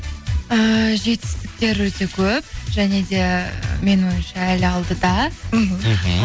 ііі жетістіктер өте көп және де менің ойымша әлі алдыда мхм